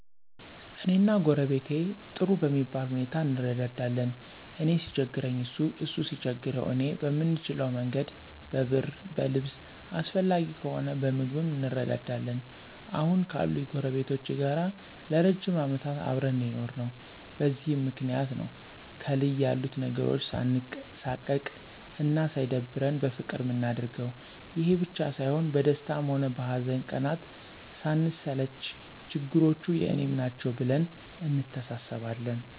እኔና ጎረቤቴ ጥሩ በሚባል ሁኔታ እንረዳዳለን። እኔ ሲቸግረኝ እሱ እሱ ሲቸግረው እኔ በምንችለ መንገድ በብር በልብስ አስፈላጊ ከሆነ በምግብም እንረዳዳለን። አሁን ካሉኝ ጎረቤቶቼ ጋር ለ ረጅም አመታት አብረን ነው የኖርነው። በዚህም ምክንያት ነው ከልይ ያሉት ነገሮች ሳንሳቀቅ አና ሳይደብረን በፍቅር ምናደርገው። ይሄ ብቻ ሳይሆን በደስታ ሆነ በሀዘን ቀናት ስንሰለች ችግሮቹ የኔም ናቸው ብለን እንተሳሰባለን።